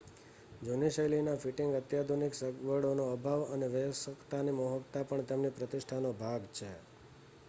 જૂની શૈલીનાં ફિટિંગ અત્યાધુનિક સગવડોનો અભાવ અને વયસ્કતાની મોહકતા પણ તેમની પ્રતિષ્ઠાનો ભાગ છે